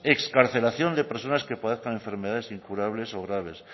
excarcelación de personas que padezcan enfermedades incurables o graves